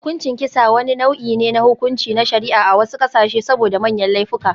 Hukuncin kisa, wani nau'i ne na hukunci na shari'a a wasu ƙasashe saboda manyan laifuka.